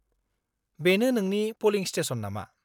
बेनो नोंनि पलिं स्टेसन नामा?